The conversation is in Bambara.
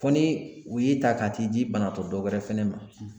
Fɔ ni u y'i ta ka t'i di banatɔ dɔwɛrɛ fɛnɛ ma